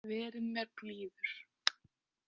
Verið mér blíður.